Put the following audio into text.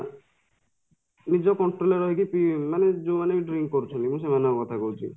ନିଜ control ରେ ରହିକି ମାନେ ଯୋଉମାନେ କି drink କରୁଛନ୍ତି ମୁଁ ସେମାନଙ୍କ କଥା କହୁଛି